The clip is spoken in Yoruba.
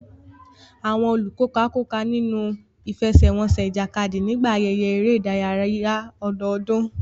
Àwọn olùkópa kópa nínú ìfẹsẹ̀wọnsẹ̀ ìjàkadì nígbà ayẹyẹ eré ìdárayá ọdọọdún.